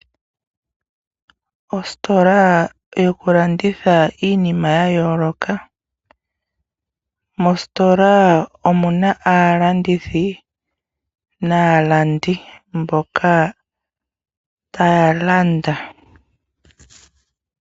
Ositola yokulanditha iinima yayooloka. Mositola omuna aalandithi naalandi mboka taya landa.